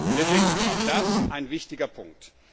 Deswegen ist auch das ein wichtiger Punkt.